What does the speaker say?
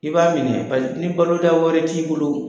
I b'a minɛ pas ni balota wɛrɛ t'i bolo